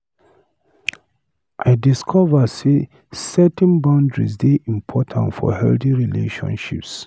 I discover sey setting boundaries dey important for healthy relationships.